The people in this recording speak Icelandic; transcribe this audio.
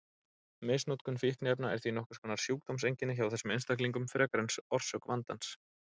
Misnotkun fíkniefna er því nokkurs konar sjúkdómseinkenni hjá þessum einstaklingum frekar en orsök vandans.